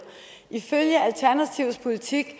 ifølge alternativets politik